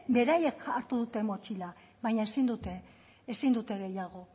beraiek hartu dute motxila baina ezin dute ezin dute gehiago